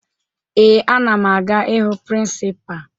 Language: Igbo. Ee, ana m aga ịhụ prịnsịpaa